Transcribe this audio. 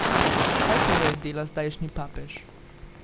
Kaj torej dela zdajšnji papež?